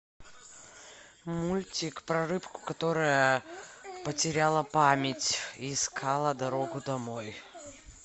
мультик про рыбку которая потеряла память и искала дорогу домой